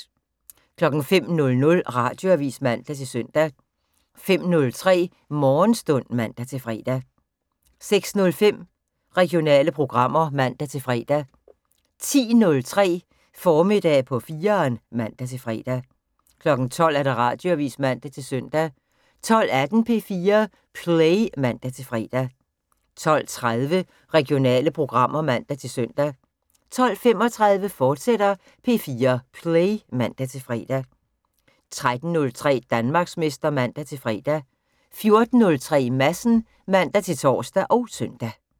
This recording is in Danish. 05:00: Radioavis (man-søn) 05:03: Morgenstund (man-fre) 06:05: Regionale programmer (man-fre) 10:03: Formiddag på 4'eren (man-fre) 12:00: Radioavis (man-søn) 12:18: P4 Play (man-fre) 12:30: Regionale programmer (man-søn) 12:35: P4 Play, fortsat (man-fre) 13:03: Danmarksmester (man-fre) 14:03: Madsen (man-tor og søn)